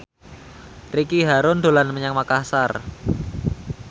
Ricky Harun dolan menyang Makasar